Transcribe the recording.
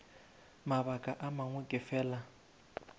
mabaka a mangwe ke fela